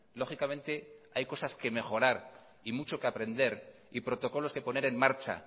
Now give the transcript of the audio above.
lógicamente hay cosas que mejorar y mucho que aprender y protocolos que poner en marcha